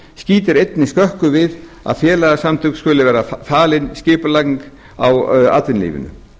skýtur einnig skökku við að félagasamtökum skuli vera falin skipulagning á atvinnulífinu